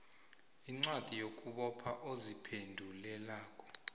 incwadi yokubopha oziphendulelako